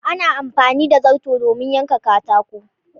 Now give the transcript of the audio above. Ana Amfani da zarto domin yanka katako.